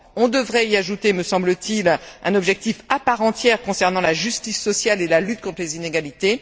On devrait y ajouter, me semble t il, un objectif à part entière concernant la justice sociale et la lutte contre les inégalités.